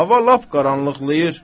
Hava lap qaranlıqlayır.